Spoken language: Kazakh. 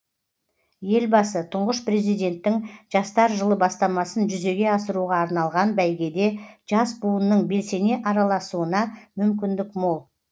елбасы тұңғыш президенттің жастар жылы бастамасын жүзеге асыруға арналған бәйгеде жас буынның белсене араласуына мүмкіндік мол